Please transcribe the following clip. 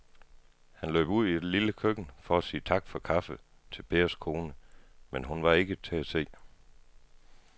Han løb ud i det lille køkken for at sige tak for kaffe til Pers kone, men hun var ikke til at se.